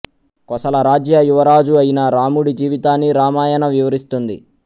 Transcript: కోసల రాజ్య యువరాజు అయిన రాముడి జీవితాన్ని రామాయణ వివరిస్తుంది